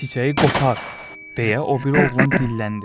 Çiçəyi qopar, deyə o biri oğlan dilləndi.